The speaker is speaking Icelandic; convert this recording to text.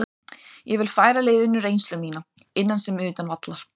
Ég vil færa liðinu reynslu mína, innan sem utan vallar.